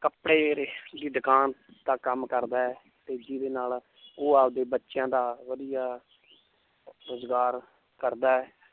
ਕੱਪੜੇ ਦੀ ਦੁਕਾਨ ਦਾ ਕੰਮ ਕਰਦਾ ਹੈ ਤੇ ਜਿਹਦੇ ਨਾਲ ਉਹ ਆਪਦੇ ਬੱਚਿਆਂ ਦਾ ਵਧੀਆ ਰੁਜ਼ਗਾਰ ਕਰਦਾ ਹੈ l